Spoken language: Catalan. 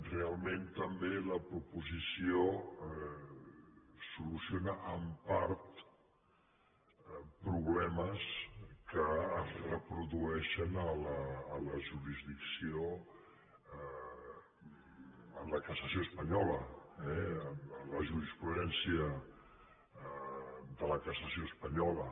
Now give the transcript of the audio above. realment també la proposició soluciona en part problemes que es reprodueixen a la jurisdicció en la cassació espanyola eh a la jurisprudència de la cassació espanyola